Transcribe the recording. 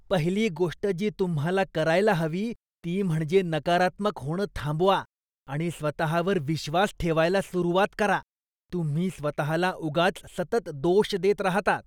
पहिली गोष्ट जी तुम्हाला करायला हवी ती म्हणजे नकारात्मक होणं थांबवा आणि स्वतःवर विश्वास ठेवायला सुरुवात करा. तुम्ही स्वतःला उगाच सतत दोष देत राहता.